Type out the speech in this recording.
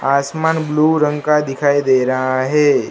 आसमान ब्लू रंग का दिखाई दे रहा है।